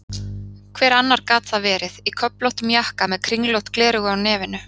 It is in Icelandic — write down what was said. Hver annar gat það verið, í köflóttum jakka með kringlótt gleraugu á nefinu?